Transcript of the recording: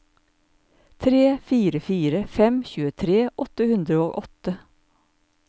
tre fire fire fem tjuetre åtte hundre og åtte